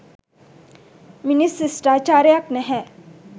මිනිස් ශිෂ්ටාචාරයක් නැහැ